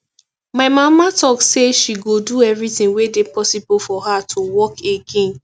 my mama talk say she go do everything wey dey possible for her to walk again